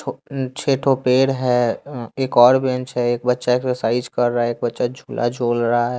छः ठो पेड़ है एक और बेंच एक बच्चा एक्सरसाइज कर रहा है एक बच्चा झूला झूल रहा है।